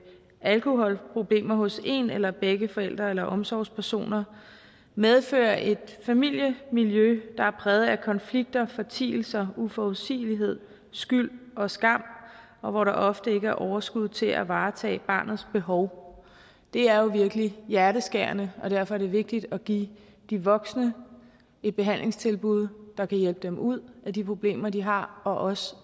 alkoholproblemer hos en eller begge forældre eller omsorgspersoner medfører et familiemiljø der er præget af konflikter fortielser uforudsigelighed skyld og skam og hvor der ofte ikke er overskud til at varetage barnets behov det er jo virkelig hjerteskærende og derfor er det vigtigt at give de voksne et behandlingstilbud der kan hjælpe dem ud af de problemer de har og også